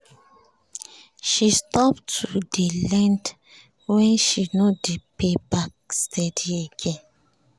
she stop to dey lend when she no dey pay back steady again